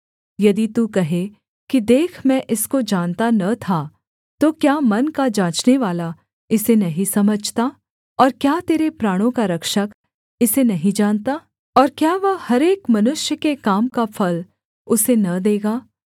यदि तू कहे कि देख मैं इसको जानता न था तो क्या मन का जाँचनेवाला इसे नहीं समझता और क्या तेरे प्राणों का रक्षक इसे नहीं जानता और क्या वह हर एक मनुष्य के काम का फल उसे न देगा